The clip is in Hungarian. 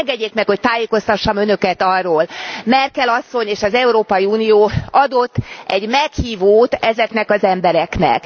Engedjék meg, hogy tájékoztassam Önöket arról, Merkel asszony és Európai Unió adott egy meghívót ezeknek az embereknek.